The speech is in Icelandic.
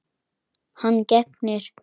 Hann gegnir.